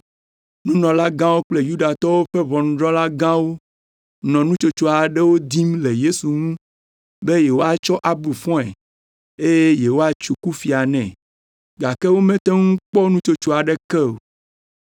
Nunɔlagãwo kple Yudatɔwo ƒe ʋɔnudrɔ̃la gãwo nɔ nutsotso aɖewo dim le Yesu ŋu be yewoatsɔ abu fɔe, eye yewoatso kufia nɛ, gake womete ŋu kpɔ nutsotso aɖeke o.